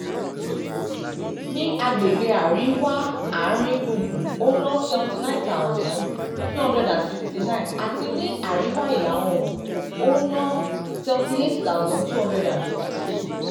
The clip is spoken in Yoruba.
ní àgbègbè àríwá àárín gbùngbùn ó ná seventy nine thousand two hundred sixty nine àti ní àríwá ìlà oòrùn ó ná n seventy eight thousand two hundred fifty two.